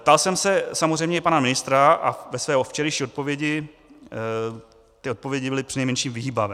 Ptal jsem se samozřejmě i pana ministra, a ve své včerejší odpovědi, ty odpovědi byly přinejmenším vyhýbavé.